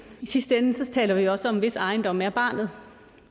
i sidste ende taler vi jo også om hvis ejendom er barnet